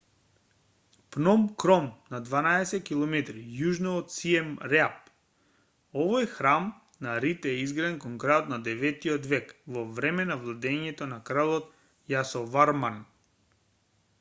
пном кром на 12 km јужно од сием реап овој храм на рид е изграден кон крајот од 9-тиот век во време на владеењето на крал јасоварман